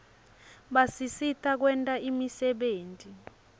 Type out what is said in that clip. basisita kwenta imisebenti